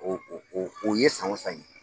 O o o ye san o san ye.